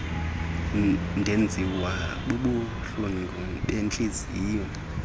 ndenziwa bubuhlungu bentliziyo